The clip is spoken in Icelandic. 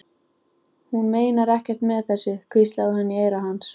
Hún meinar ekkert með þessu, hvíslaði hún í eyra hans.